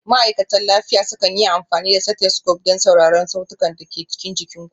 Ma'aikatan lafiya sukan yi amfani da stethoscope don sauraron sautunan da ke cikin jikin ku.